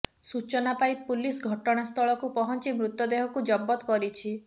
ସୂଚନା ପାଇ ପୁଲିସ ଘଟଣାସ୍ଥଳକୁ ପହଞ୍ଚି ମୃତଦେହକୁ ଜବତ କରିଛି